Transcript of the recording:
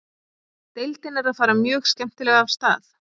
Deildin er að fara mjög skemmtilega af stað.